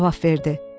Cavab verdi.